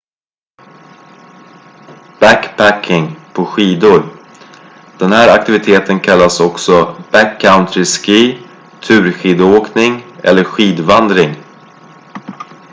backpacking på skidor den här aktiviteten kallas också backcountry ski turskidåkning eller skidvandring